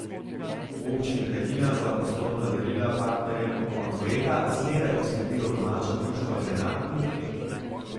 V občini Hajdina za poslovna darila partnerjem ob koncu leta zmeraj poskrbijo domača društva žena in deklet.